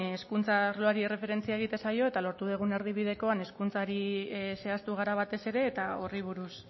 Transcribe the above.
hezkuntza arloari erreferentzia egiten zaio eta lortu dugun erdibidekoak hezkuntzari zehaztu gara batez ere eta horri buruz